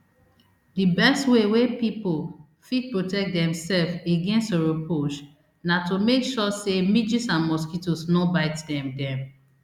di best way wey pipo fit protect demsef against oropouche na to make sure say midges and mosquitoes no bite dem dem